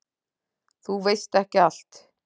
Þú veist ekki allt.